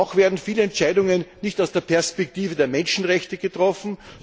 Auch werden viele Entscheidungen nicht aus der Perspektive der Menschenrechte getroffen.